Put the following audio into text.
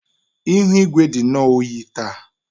Ihu igwe dị nnọọ oyi taa